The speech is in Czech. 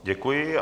Děkuji.